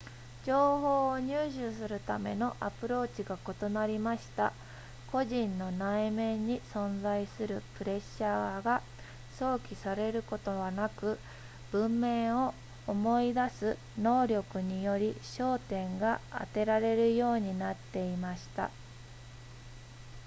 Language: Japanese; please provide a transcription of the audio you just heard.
情報を入手するためのアプローチが異なりました個人の内面に存在するプレッシャーが想起されることはなく文面を思い出す能力により焦点が当てられるようになっていました